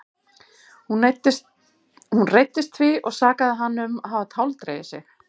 Hún reiddist því og sakaði hann um að hafa táldregið sig.